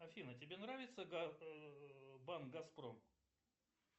афина тебе нравится банк газпром